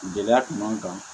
Gɛlɛya kun b'an kan